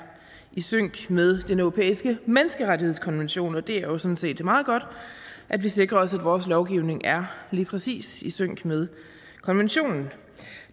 i sync med den europæiske menneskerettighedskonvention og det er jo sådan set meget godt at vi sikrer os at vores lovgivning er lige præcis i sync med konventionen